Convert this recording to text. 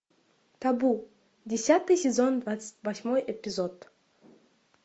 табу десятый сезон двадцать восьмой эпизод